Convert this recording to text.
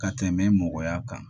Ka tɛmɛ mɔgɔya kan